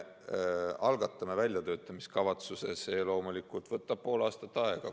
Algatame väljatöötamiskavatsuse – see loomulikult võtab pool aastat aega.